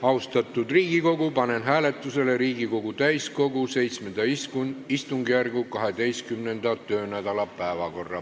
Austatud Riigikogu, panen hääletusele Riigikogu täiskogu VII istungjärgu 12. töönädala päevakorra.